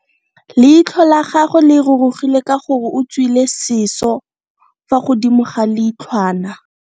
Leitlho la gagwe le rurugile ka gore o tswile siso fa godimo ga leitlhwana.